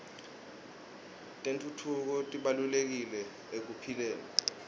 tentfutfuko tibalulekile ekuphileni